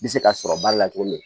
Bɛ se ka sɔrɔ ba la cogo min na